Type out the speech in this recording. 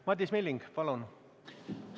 Madis Milling, palun!